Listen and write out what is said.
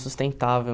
sustentável